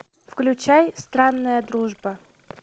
включай странная дружба